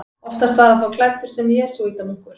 Oftast var hann þá klæddur sem jesúítamunkur.